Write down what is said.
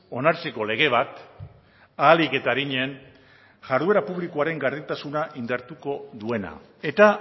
onartzeko lege bat ahalik eta arinen jarduera publikoaren gardentasuna indartuko duena eta